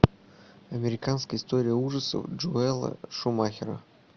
американская история ужасов джоэла шумахера